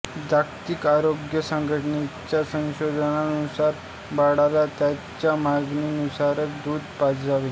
जागतिक आरोग्य संघटनेच्या संशोधनानुसार बाळाला त्याच्या मागनीनुसारच दुध पाजावे